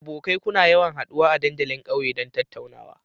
Abokai, kuna yawan haduwa a dandalin kauye don tattaunawa?